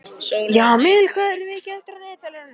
Jamil, hvað er mikið eftir af niðurteljaranum?